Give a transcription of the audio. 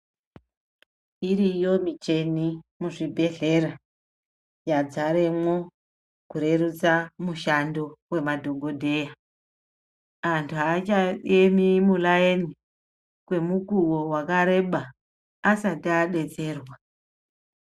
Iriyo michina muzvibhedhlera yadzaremwo kurerutsa mushando wemadhokodheya, anthu aachaemi mumuraini kwemukuwo wakareba asati adetserwa.